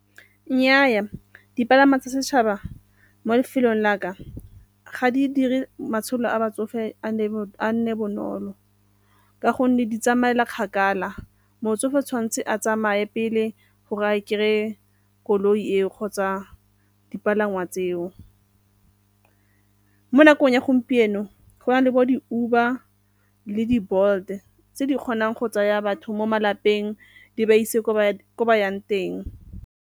Nnyaa, dipalangwa tsa setšhaba mo lefelong la ka ga di dire matshelo a batsofe a nne bonolo ka gonne di tsamaela kgakala, motsofe o tshwanetse a tsamaye pele gore a kry-e koloi eo kgotsa dipalangwa tseo. Mo nakong ya gompieno, go na le bo di-Uber le di-Bolt tse di kgonang go tsaya batho mo malapeng di ba ise kwa ko ba yang teng.